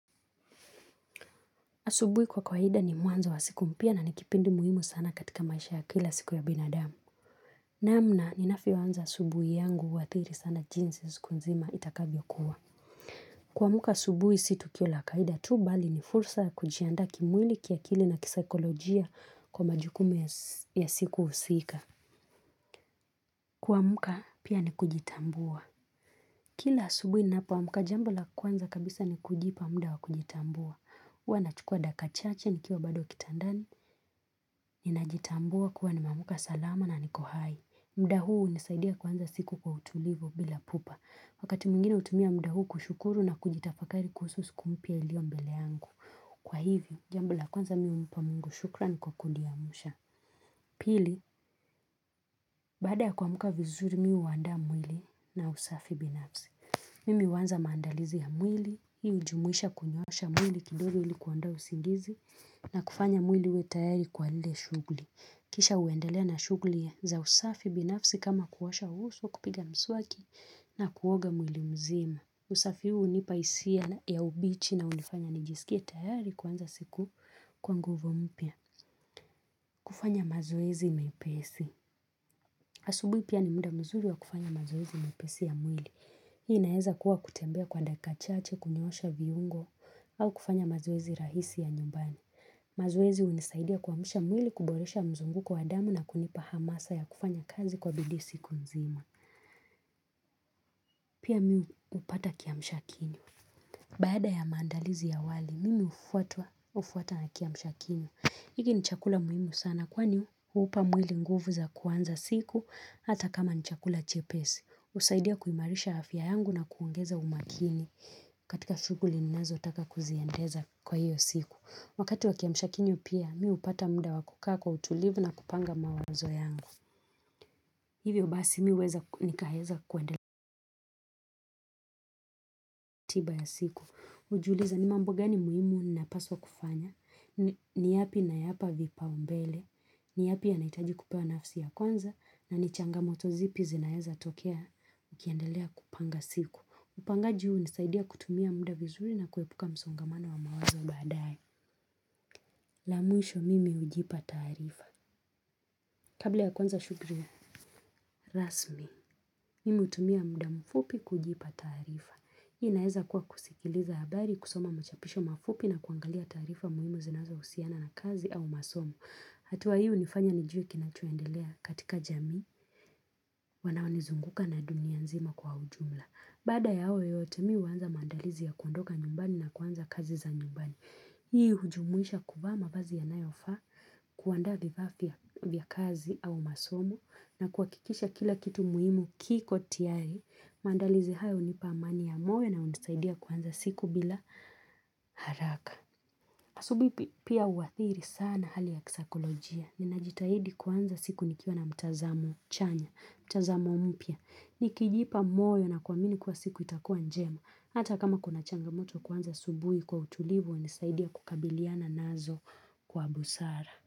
Asubuhi kwa kawaida ni mwanzo wa siku mpya na nikipindi muhimu sana katika maisha ya kila siku ya binadamu. Namna, ninavyoanza asubuhi yangu huathiri sana jinsi siku nzima itakavyo kuwa. Kuamka asubuhi si tukio la kawaida tu bali ni fursa ya kujiandaa kimwili kiakili na kisaikolojia kwa majukumu ya siku husika. Kuamka pia ni kujitambua. Kila asubuhi ninapo amka jambo la kwanza kabisa ni kujipa muda wa kujitambua. hUwa nachukua dakika chache ni kiwa bado kitandani, ni najitambua kuwa ni meamka salama na nikohai. Mudahuu hunisaidia kuanza siku kwa utulivu bila pupa. Wakati mwingine hutumia muda huu kushukuru na kujitafakari kuhusu siku mpya iliyombele yangu. Kwa hivyo, jambo la kwanza mi humpa mungu shukran kwa kuniamsha. Pili, baada ya kuamka vizuri mimi huandaa mwili na usafi binafsi. Mimi huanza maandalizi ya mwili, hii hujumuisha kunyoosha mwili kidogo ili kuondoa usingizi na kufanya mwili uwe tayari kwa lile shughli. Kisha huendelea na shughli ya za usafi binafsi kama kuosha uso kupiga mswaki na kuoga mwili mzima. Usafi huu hunipa hisia ya ubichi na hunifanya nijisikie tayari kuanza siku kwa nguvu mpya. Kufanya mazoezi mepesi. Asubihi pia ni muda mzuri wa kufanya mazoezi mepesi ya mwili. Hii inaeza kuwa kutembea kwa dakika chache kunyoosha viungo au kufanya mazoezi rahisi ya nyumbani. Mazoezi hunisaidia kuamsha mwili kuboresha mzunguko wa damu na kunipa hamasa ya kufanya kazi kwa bidii siku nzima Pia mi huu upata kiamshakinywa Baada ya maandalizi ya awali, mimi hufuatwa na kiamshakinywa hiki ni chakula muhimu sana kwani huupa mwili nguvu za kuanza siku hata kama ni chakula chepesi husaidia kuimarisha afya yangu na kuongeza umakini katika shughuli ninazo taka kuziendeza kwa hiyo siku Wakati wa kiamshakinywa pia, mi hupata muda wakukaa kwa utulivu na kupanga mawazo yangu. Hivyo basi mi huweza nikaweza kuendelea tiba ya siku. hUjiuliza ni mambo gani muhimu ni napaswa kufanya, ni yapi nayapa vipaumbele, ni yapi yanahitaji kupewa nafsi ya kwanza, na ni changamoto zipi zinaeza tokea ukiendelea kupanga siku. Upangaji huu hunisaidia kutumia muda vizuri na kuepuka msongamano wa mawazo baadaye. La mwisho mimi hujipa taarifa. Kabla ya kwanza shughuli, rasmi, mimi hutumia muda mfupi kujipa taarifa. Hii inaeza kuwa kusikiliza habari kusoma machapisho mafupi na kuangalia taarifa muhimu zinazo husiana na kazi au masomo. Hatua hii hunifanya nijue kinachoendelea katika jamii, wanao nizunguka na dunia nzima kwa ujumla. Baada ya hayo yote mimi huanza maandalizi ya kuondoka nyumbani na kuanza kazi za nyumbani. Hii hujumuisha kuvaa mavazi yanayofaa kuandaa vifaa vya vya kazi au masomo na kuhakikisha kila kitu muhimu kiko tayari, maandalizi haya hunipa amani ya moyo na hunisaidia kuanza siku bila haraka. Asubihi pia uathiri sana hali ya kisaikolojia. Ninajitahidi kwanza siku nikiona mtazamo chanya, mtazamo mpya. Nikijipa moyo na kuamini kuwa siku itakua njema. Hata kama kuna changamoto kuanza asubuhi kwa utulivu, hunisaidia kukabiliana nazo kwa busara.